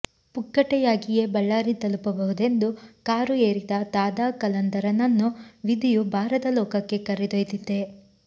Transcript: ಪುಕ್ಕಟೆಯಾಗಿಯೇ ಬಳ್ಳಾರಿ ತಲುಪಬಹುದೆಂದು ಕಾರು ಏರಿದ ದಾದಾ ಕಲಂದರನನ್ನು ವಿಧಿಯು ಬಾರದ ಲೋಕಕ್ಕೆ ಕರೆದೊಯ್ದಿದಿದೆ